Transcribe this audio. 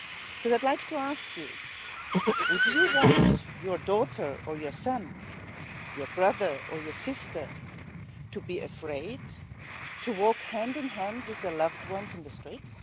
I would like to ask you would you want your daughter or your son, your brother or your sister, to be afraid to walk hand in hand with their loved ones in the street?